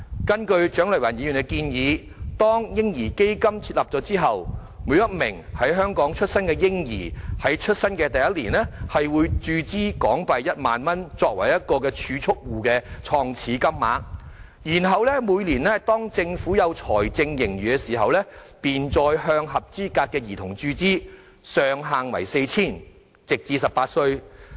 根據蔣麗芸議員的建議，當"嬰兒基金"設立後，每名在香港出生的嬰兒於出生首年便會注資1萬元作為個人儲蓄戶的創始金額，然後每年當政府有財政盈餘時，便再向合資格兒童注資，上限為 4,000 元，直至18歲為止。